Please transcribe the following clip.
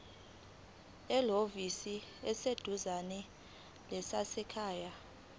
ehhovisi eliseduzane lezasekhaya